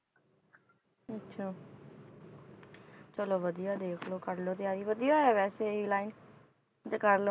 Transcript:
ਅੱਛਾ ਚਲੋ ਵਧੀਆ ਦੇਖ ਲਓ ਕਰ ਲਓ ਤਿਆਰੀ ਵਧੀਆ ਹੈ ਵੈਸੇ ਇਹ line ਜੇ ਕਰ,